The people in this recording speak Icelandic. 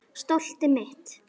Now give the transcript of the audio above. Stoltið mitt.